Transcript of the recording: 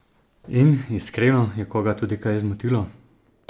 In, iskreno, je koga tudi kaj zmotilo?